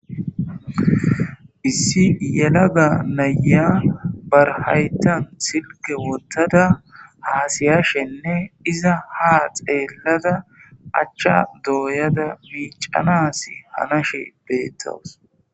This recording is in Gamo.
issi yelaga naya barhaytan silke wottada haasiyashenne iza ha xeellada achcha dooyada biicanas hanashe beettowus